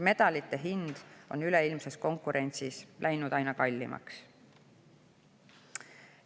Medalite hind on üleilmses konkurentsis läinud aina kallimaks.